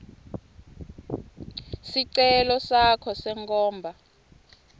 sicelo sakho senkhomba